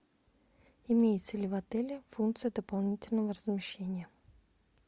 имеется ли в отеле функция дополнительного размещения